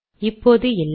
இப்போது இல்லை